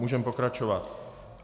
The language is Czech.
Můžeme pokračovat.